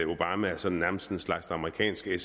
obama sådan nærmest er en slags amerikansk